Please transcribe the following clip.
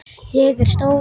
Ég er stór.